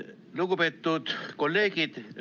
Lugupeetud kolleegid!